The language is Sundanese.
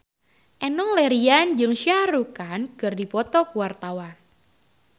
Enno Lerian jeung Shah Rukh Khan keur dipoto ku wartawan